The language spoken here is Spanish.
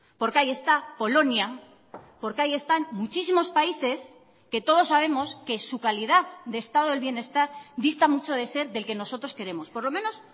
porque ahí está polonia porque ahí están muchísimos países que todos sabemos que su calidad de estado del bienestar dista mucho de ser del que nosotros queremos por lo menos